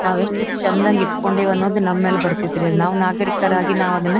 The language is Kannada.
ನಾವೆಷ್ಟು ಚೆಂದಂಗ್ ಇಟ್ಕೊಂಡಿವಿ ಅನ್ನೋದು ನಮ್ ಮೇಲೆ ಬರ್ತಿತ್ ರೀ ನಾವು ನಾಗರಿಕರಾಗಿ ನಾವು ಅದನ್ನ --